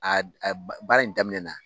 A a baara in daminɛ na.